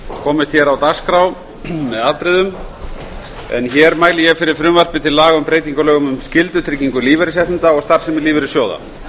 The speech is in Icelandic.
komist hér á dagskrá með afbrigðum en hér mæli ég fyrir frumvarpi til laga um breytingu á lögum um skyldutrygging lífeyrisréttinda og starfsemi lífeyrissjóða